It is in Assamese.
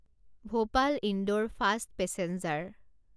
Bhopal Indore fast passenger